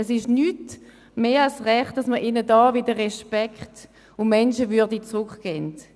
Es ist nicht mehr als recht, dass man ihnen hier wieder Respekt und Menschenwürde zurückgibt.